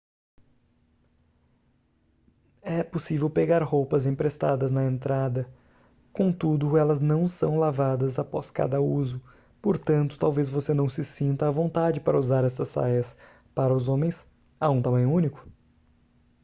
é possível pegar roupas emprestadas na entrada contudo elas não são lavadas após cada uso portanto talvez você não se sinta à vontade para usar estas saias para os homens há um tamanho único